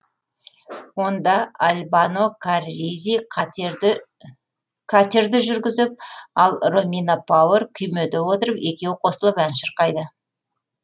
онда альбано карризи катерді жүргізіп ал ромина пауэр күймеде отырып екеуі қосылып әнді шырқайды